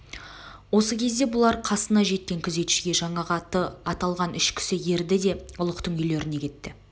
осы кезде бұлар қасына жеткен күзетшіге жаңағы аты аталған үш кісі ерді де ұлықтың үйлеріне кетті